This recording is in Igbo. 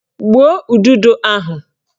Gbuo udodo ahụ!